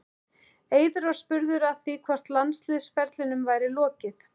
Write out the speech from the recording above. Eiður var spurður að því hvort landsliðsferlinum væri lokið?